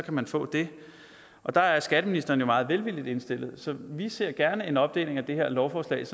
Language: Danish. man få det og der er skatteministeren jo meget velvillig indstillet så vi ser gerne en opdeling af det her lovforslag